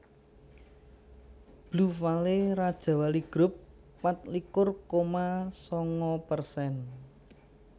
Blue Valley Rajawali Grup patlikur koma sanga persen